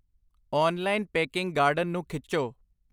online baking garden ਨੂੰ ਖਿੱਚੋ